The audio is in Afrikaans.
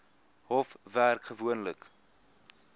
hof werk gewoonlik